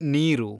ನೀರು